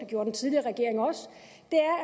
gjorde den tidligere regering også